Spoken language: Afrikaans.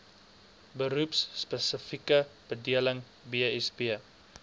beroepspesifieke bedeling bsb